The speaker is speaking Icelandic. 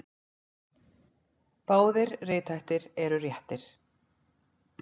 Báðir rithættir eru réttir.